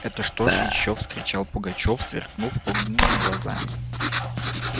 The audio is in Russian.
это что ж ещё вскричал пугачёв сверкнув огненными глазами